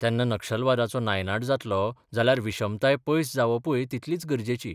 तेन्ना नक्षलावादाचो नायनाट जातलो जाल्यार विशमताय पयस जावपूय तितलीच गरजेची.